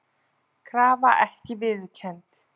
Krafa ekki viðurkennd